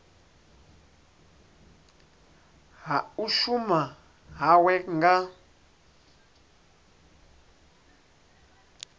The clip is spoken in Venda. ha u shuma hawe nga